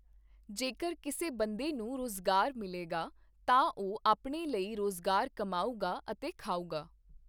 ਜੇਕਰ ਕਿਸੇ ਬੰਦੇ ਨੂੰ ਰੁਜ਼ਗਾਰ ਮਿਲੇਗਾ, ਤਾਂ ਉਹ ਆਪਣੇ ਲਈ ਰੁਜ਼ਗਾਰ ਕਮਾਊਗਾ ਅਤੇ ਖਾਊਗਾ